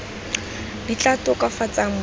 di tla tokafatsang boleng ba